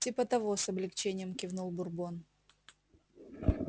типа того с облегчением кивнул бурбон